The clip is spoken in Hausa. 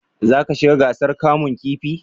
za ka shiga gasar kamun kifi?